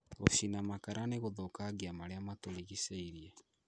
Gũchina makara nĩgũthũkagia marĩa matũrigicĩirie